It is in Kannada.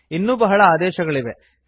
ಇನ್ನೂ ಬಹಳ ಆದೇಶಗಳಿವೆ